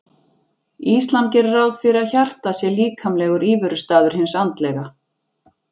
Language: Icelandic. Íslam gerir ráð fyrir að hjartað sé líkamlegur íverustaður hins andlega.